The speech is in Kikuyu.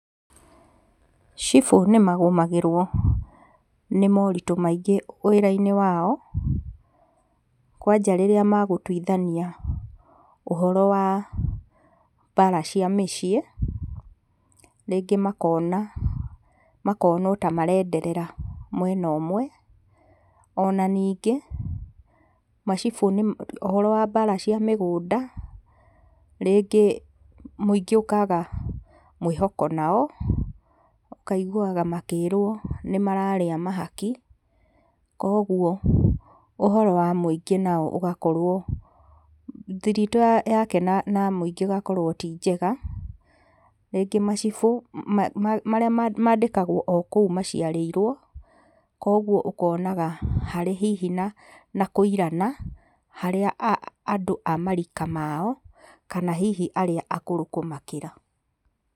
Cibũ nĩ magũmagĩrwo nĩ moritũ maingĩ wĩrainĩ wao, kwanja rĩrĩa magũtuithania ũhoro wa bara cia mĩciĩ, rĩngĩ makona makonwo ta marenderera mwena ũmwe, ona ningĩ macibũ nĩ ũhoro wa mbara cia mĩgũnda, rĩngĩ mũingĩ ũkaga mwĩhoko nao, ũkaiguaga makĩrwo nĩmararĩa mahaki, koguo ũhoro wa mũingĩ nao ũgakorwo thiritũ yake na mũingĩ ĩgakorwo ti njega, rĩngĩ macibũ, ma marĩa mandĩkagwo o kũu maciarĩirwo, koguo ũkonaga harĩ hihi na na kũirana, harĩa andũ a marika mao, kana hihi arĩa akũrũ kũmakĩra.